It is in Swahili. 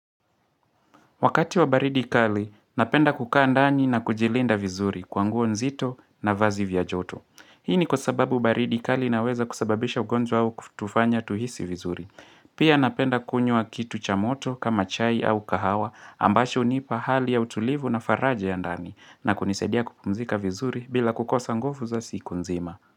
Wakati wa baridi kali, napenda kukaa ndani na kujilinda vizuri kwa nguo nzito na vazi vya joto. Hii ni kwa sababu baridi kali inaweza kusababisha ugonjwa au kutufanya tuhisi vizuri. Pia napenda kunywa kitu cha moto kama chai au kahawa ambacho hunipa hali ya utulivu na faraja ya ndani na kunisaidia kupumzika vizuri bila kukosa nguvu za siku nzima.